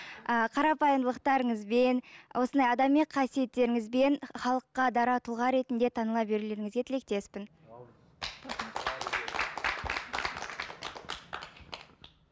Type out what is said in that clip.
ыыы қарапайымдылықтарыңызбен осындай адами қасиеттеріңізбен халыққа дара тұлға ретінде таныла берулеріңізге тілектеспін